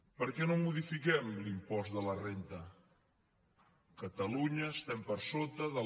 per què no modifiquem l’impost de la renda catalunya estem per sota de la